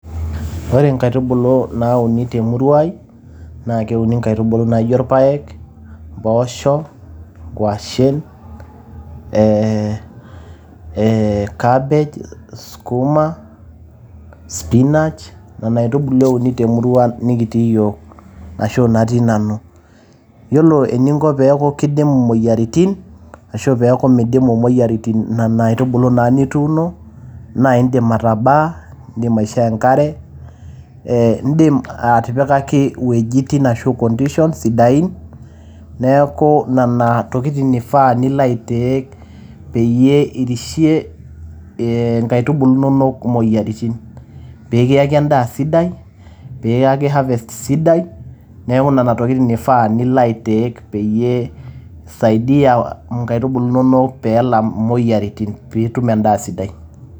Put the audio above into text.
Ore nkaitubulu nauni te murua ai naa keuni nkaitubulu naijo ilpaek , mpoosho, nkuashe ee ee cabbage, sukuma, spinach nena aitubulu euni te murua nikitii iyiok ashu natii nanu. Yiolo eninko pee eeku kidimu moyiaritin ashu pee eku midimu moyiaritin nena aitubulu naa nituuno naa idim atabaa, idim aishoo enkare. Eeh idim atipikaki iwuejitin ashu conditions sidain niaku nena tokitin ifaa nilo ai take peeyie irishie nkaitubulu inonok imoyiaritin. Pee kiaki en`daa sidai , pee kiyaki harvest sidai. Niaku nena tokitin eifaa pee ilo ai take peyie isaida nkaitubulu inonok pee elam moyiaritin pii itum en`daa sidai.